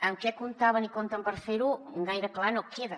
amb què comptaven i compten per fer ho gaire clar no queda